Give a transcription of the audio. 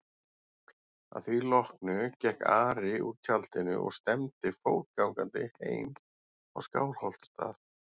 Að því loknu gekk Ari úr tjaldinu og stefndi fótgangandi heim á Skálholtsstað.